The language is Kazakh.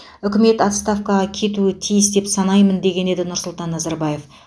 үкімет отставкаға кетуі тиіс деп санаймын деген еді нұрсұлтан назарбаев